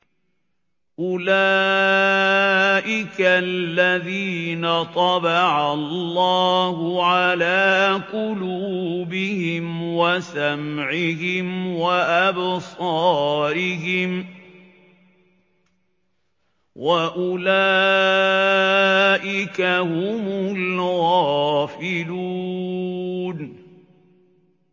أُولَٰئِكَ الَّذِينَ طَبَعَ اللَّهُ عَلَىٰ قُلُوبِهِمْ وَسَمْعِهِمْ وَأَبْصَارِهِمْ ۖ وَأُولَٰئِكَ هُمُ الْغَافِلُونَ